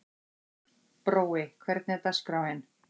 Brói, hvernig er dagskráin?